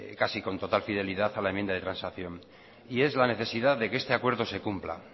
casi con total fidelidad a la enmienda de transacción y es la necesidad de que este acuerdo se cumpla